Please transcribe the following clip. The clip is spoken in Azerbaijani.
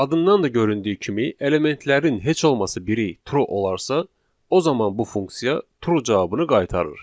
Adından da göründüyü kimi elementlərin heç olmasa biri true olarsa, o zaman bu funksiya true cavabını qaytarır.